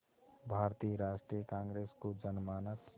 भारतीय राष्ट्रीय कांग्रेस को जनमानस